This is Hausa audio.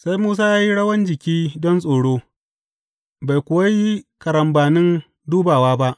Sai Musa ya yi rawan jiki don tsoro, bai kuwa yi karambanin dubawa ba.